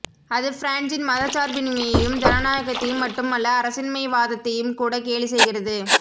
அது பிரான்ஸின் மதச்சார்பின்மையையும் ஜனநாயகத்தையும் மட்டும் அல்ல அரசின்மைவாதத்தையும்கூட கேலி செய்கிறது